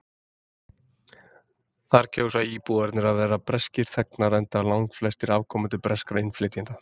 Þar kjósa íbúarnir að vera breskir þegnar enda langflestir afkomendur breskra innflytjenda.